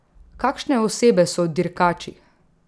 Kakšne osebe so dirkači?